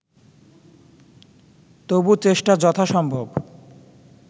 তবু চেষ্টা যথাসম্ভব